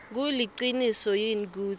kuliciniso yini kutsi